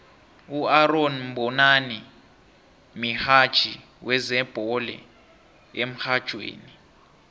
uaaron mbonani mihatjhi wezebhole emrhatjhweni